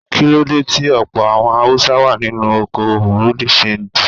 Kíló dé tí ọ̀pọ̀ àwọn Haúsá wá nínú okoòwò Bùrú dì ṣanjì.